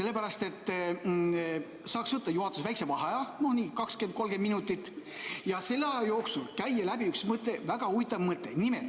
Juhatus saaks võtta väikese vaheaja, no nii 20–30 minutit, ja selle aja jooksul käia läbi üks väga huvitav mõte.